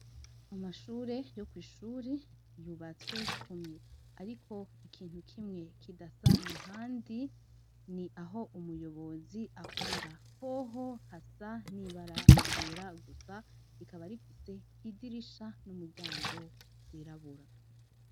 Amashure yo kw'ishuri yubatswe kumwe, ariko ikintu kimwe kidasa na handi ni aho umuyobozi akorera hoho hasa n'ibaragyera gusa rikaba rifise idirisha n'umuryango zirabura.